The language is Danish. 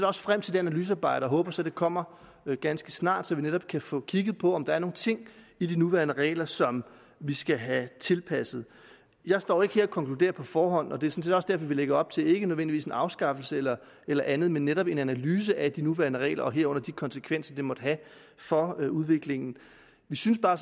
også frem til det analysearbejde og håber så det kommer ganske snart så vi netop kan få kigget på om der er nogle ting i de nuværende regler som vi skal have tilpasset jeg står ikke her og konkluderer på forhånd og det set også derfor vi lægger op til ikke nødvendigvis en afskaffelse eller eller andet men netop en analyse af de nuværende regler herunder de konsekvenser det måtte have for udviklingen vi synes bare